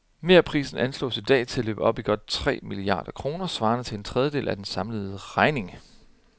Merprisen anslås i dag til at løbe op i godt tre milliarder kroner, svarende til en tredjedel af af den samlede regning.